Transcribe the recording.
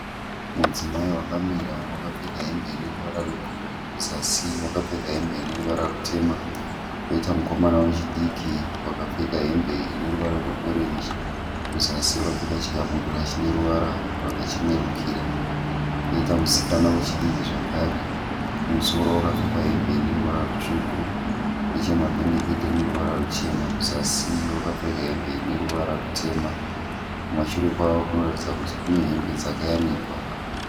Mudzimai wakamira wakapfeka hembe ineruvara rwebhuruu kuzasi wakapfeka hembe ineruvara rutema. Koita mukomana wechidiki wakapfeka hembe ineruvara rweorenji kuzasi wakapfeka chikabudura chineruvara rwakachenerukira. Koita musikana wechidiki zvakare kumusoro wakapfeka hembe ineruvara rutsvuku nechemumapendekete ineruvara ruchena, kuzasi wakapfeka hembe ineruvara rutema. Kumashure kwazvo kunoratidza kuti kunehembe dzakayanikwa.